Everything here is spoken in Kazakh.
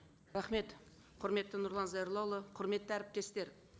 рахмет құрметті нұрлан зайроллаұлы құрметті әріптестер